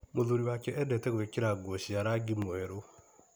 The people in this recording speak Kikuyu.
Mũthuri wake endete gwĩkĩra nguo cia rangi mwerũ.